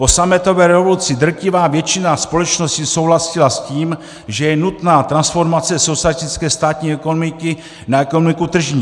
Po sametové revoluci drtivá většina společností souhlasila s tím, že je nutná transformace socialistické státní ekonomiky na ekonomiku tržní.